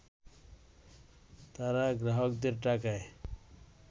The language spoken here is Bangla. তারা গ্রাহকদের টাকায়